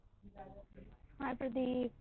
हाय Pradip